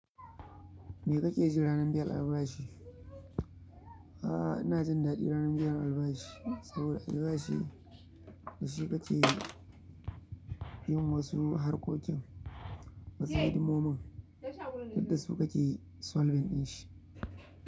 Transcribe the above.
Me kake ji ranar biyan albashi? Ah ina jin daɗi ranar biyan albashi, saboda albashi dashi kake yin wasu harkokin, wasu hidimomin duk dasu kake 'solving' ɗinshi.